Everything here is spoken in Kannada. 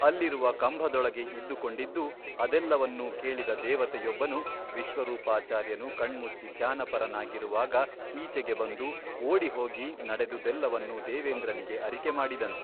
ಅಲ್ಲಿರುವ ಕಂಭದೊಳಗೆ ಇದ್ದುಕೊಂಡಿದ್ದು ಅದೆಲ್ಲವನ್ನೂ ಕೇಳಿದ ದೇವತೆಯೊಬ್ಬನು ವಿಶ್ವರೂಪಾಚಾರ್ಯನು ಕಣ್ಮುಚ್ಚಿ ಧ್ಯಾನಪರನಾಗಿರುವಾಗ ಈಚೆಗೆ ಬಂದು ಓಡಿ ಹೋಗಿ ನಡೆದುದೆಲ್ಲವನ್ನು ದೇವೇಂದ್ರನಿಗೆ ಅರಿಕೆ ಮಾಡಿದನು.